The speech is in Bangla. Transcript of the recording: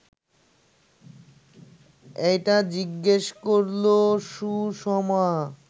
একা জিজ্ঞেস করল সুষমা